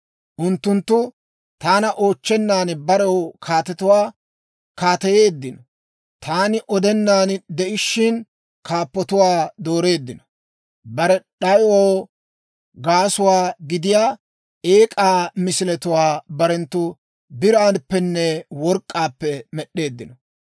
«Unttunttu taana oochchennan barew kaatetuwaa kaateyeeddino; taani odenaan de'ishshin, kaappatuwaa doreeddino. Bare d'ayoo gaasuwaa gidiyaa eek'aa misiletuwaa barenttu biraappenne work'k'aappe med'd'eeddino.